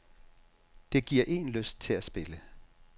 Det giver én lyst til at spille.